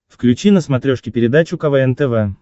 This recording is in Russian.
включи на смотрешке передачу квн тв